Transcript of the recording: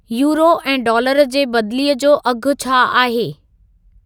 euro ऐं dollar जे बदिली जो अघु छा आहे